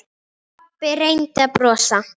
Pabbi reyndi að brosa.